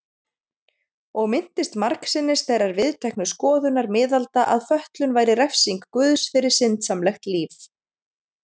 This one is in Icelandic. Og minntist margsinnis þeirrar viðteknu skoðunar miðalda að fötlun væri refsing guðs fyrir syndsamlegt líf.